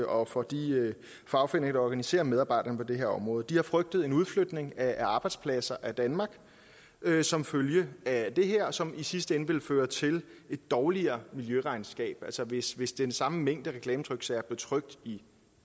og fra de fagforeninger der organiserer medarbejderne på det her område de har frygtet en udflytning af arbejdspladser fra danmark som følge af det her som i sidste ende også vil føre til et dårligere miljøregnskab altså hvis hvis den samme mængde reklametryksager blev trykt i